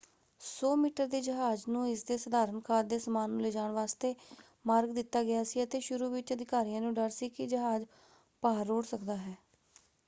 100 metre ਦੇ ਜਹਾਜ਼ ਨੂੰ ਇਸਦੇ ਸਧਾਰਣ ਖਾਦ ਦੇ ਸਮਾਨ ਨੂੰ ਲਿਜਾਣ ਵਾਸਤੇ ਮਾਰਗ ਦਿੱਤਾ ਗਿਆ ਸੀ ਅਤੇ ਸ਼ੁਰੂ ਵਿੱਚ ਅਧਿਕਾਰੀਆਂ ਨੂੰ ਡਰ ਸੀ ਕਿ ਜਹਾਜ਼ ਭਾਰ ਰੋੜ੍ਹ ਸਕਦਾ ਹੈ।